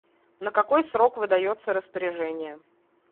на какой срок выдается распоряжение